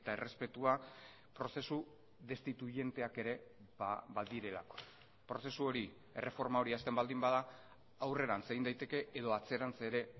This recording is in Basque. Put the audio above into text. errespetua prozesu destituienteak ere badirelako prozesu hori erreforma hori hasten baldin bada aurrerantz egin daiteke edo atzerantz ere